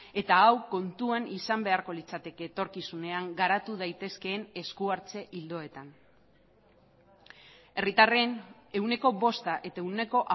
eta hau kontuan izan beharko litzateke etorkizunean garatu daitezkeen esku hartze ildoetan herritarren ehuneko bosta eta ehuneko